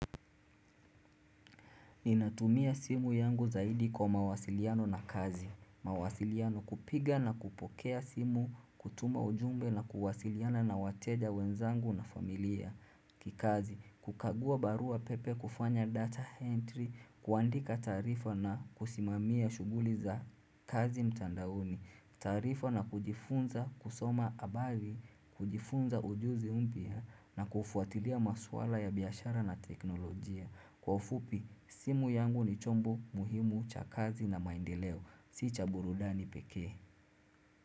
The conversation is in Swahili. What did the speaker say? Ninatumia simu yangu zaidi kwa mawasiliano na kazi mawasiliano kupiga na kupokea simu, kutuma ujumbe na kuwasiliana na wateja wenzangu na familia kikazi, kukagua barua pepe kufanya data entry, kuandika taarifa na kusimamia shughuli za kazi mtandaoni taarifa na kujifunza kusoma habari kujifunza ujuzi mpya na kufuatilia maswala ya biashara na teknolojia Kwa ufupi, simu yangu ni chombo muhimu cha kazi na maendeleo. Si cha burudani pekee.